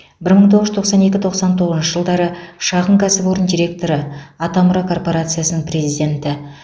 бір мың тоғыз жүз тоқсан екі тоқсан тоғызыншы жылдары шағын кәсіпорын директоры атамұра корпорациясының президенті